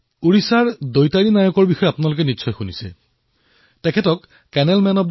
ভাৰতীয় গণতন্ত্ৰৰ মাহাত্ম বৰ্তাই ৰখাৰ তেওঁৰ অতুলনীয় সহযোগিতাক ভৱিষ্যতৰ প্ৰজন্মই সদায়েই মনত ৰাখিব